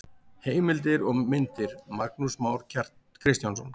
Heimildir og myndir: Magnús Már Kristjánsson.